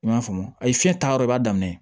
I m'a faamu ayi fiɲɛ ta yɔrɔ b'a daminɛ